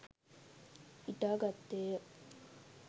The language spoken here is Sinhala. ඉටා ගත්තේය.